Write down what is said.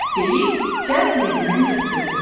deyib cəld yerindən götürüldü.